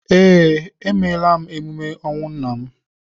Ee, emeela m emume ọnwụ nna m